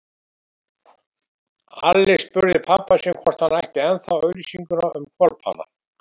Alli spurði pabba sinn hvort hann ætti ennþá auglýsinguna um hvolpana.